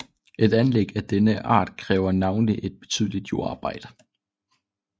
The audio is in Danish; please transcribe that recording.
Et anlæg af denne art kræver navnlig et betydeligt jordarbejde